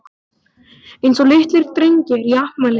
Eins og litlir drengir í afmælisboði.